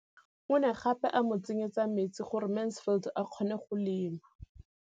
O ne gape a mo tsenyetsa metsi gore Mansfield a kgone go lema.